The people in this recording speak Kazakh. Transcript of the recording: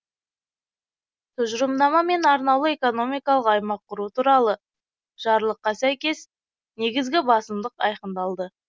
тұжырымдама мен арнаулы экономикалық аймақ құру туралы жарлыққа сәйкес негізгі басымдық айқындалды